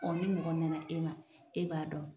ni mɔgɔ nana e ma, e b'a dɔn